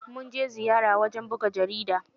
Mun je ziyara wajen buga jarida.